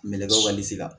Melekew walisi la